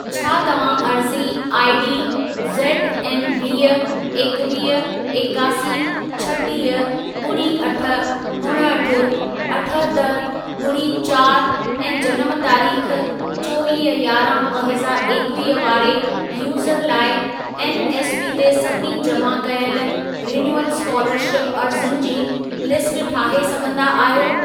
छा तव्हां अर्ज़ी आईडी ज़ेडऐन वीह, एकवीह, एकासी, छटीह, ॿुड़ी अठ, उणहठि, अठहतरि, ॿुड़ी चारि ऐं जनम तारीख़ चोवीह यारहं ॿ हज़ारु एकवीह वारे यूज़र लाइ एनएसपी ते सभिनी जमा कयल रिन्यूअल स्कोलरशिप अर्ज़ियुनि जी लिस्ट ठाहे सघंदा आहियो?